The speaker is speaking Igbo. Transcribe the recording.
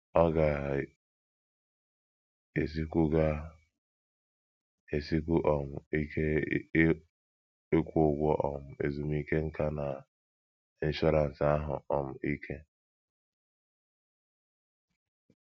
Ọ ga - esikwu ga - esikwu um ike ịkwụ ụgwọ um ezumike nká na ịnshọransị ahụ́ um ike.